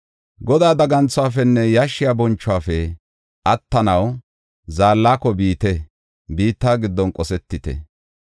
Godaa daganthuwafenne yashshiya bonchuwafe attanaw zaallako biite; biitta giddon qosetite!